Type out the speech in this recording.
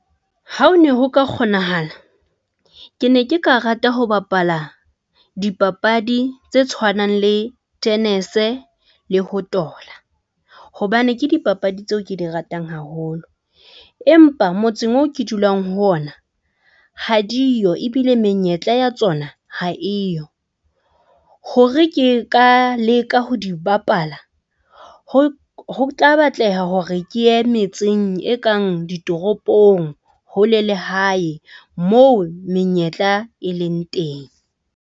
Ha o ne ho ka kgonahala, ke ne ke ka rata ho bapala dipapadi tse tshwanang le tenese le ho tola hobane ke dipapadi tseo ke di ratang haholo. Empa motseng oo ke dulang ho ona ha diyo ebile menyetla ya tsona ha eyo, hore ke ka leka ho di bapala ho ho tla batleha hore ke ye metseng e kang ditoropong, hole le hae moo menyetla e leng teng.